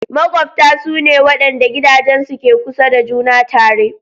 Maƙwabta su ne waɗanda gidajensu ke kusa da juna tare.